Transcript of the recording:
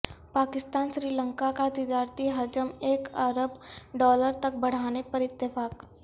پاکستان سری لنکا کاتجارتی حجم ایک ارب ڈالر تک بڑھانے پر اتفاق